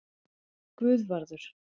Guðvarður